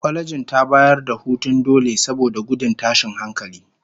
Kwalejin ta bayar da hutun dole saboda gudun tashin hankali